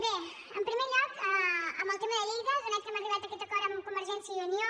bé en primer lloc en el tema de lleida atès que hem arribat a aquest acord amb convergència i unió